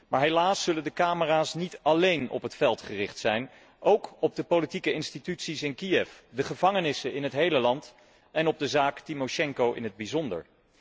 Maar helaas zullen de camera's niet alleen op het veld gericht zijn, maar ook op de politieke instituties in Kiev, de gevangenissen in het hele land en op de zaak Timosjenko in het bijzonder.